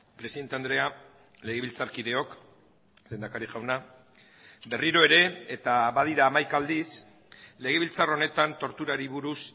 presidente andrea legebiltzarkideok lehendakari jauna berriro ere eta badira hamaika aldiz legebiltzar honetan torturari buruz